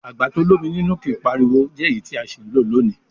Àgbà to l'ómi nínú kìí pariwo jẹ́ èyí tí a sì ń lò lónìí.